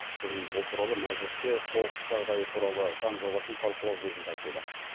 бүгін ол туралы мәжілісте соғыс жағдайы туралы заң жобасын талқылау кезінде айтылды